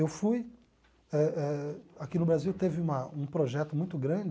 Eu fui eh eh.. Aqui no Brasil teve uma um projeto muito grande